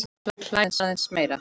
Hún hlær aðeins meira.